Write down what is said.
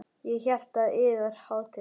Ég hélt að yðar hátign.